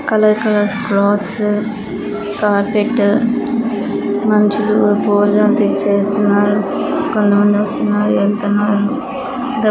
Colour colour clothes carpet మనుసులు పూజ చేస్టున్నారు. కొంత మంది వస్తున్నారు వెళ్తున్నారు.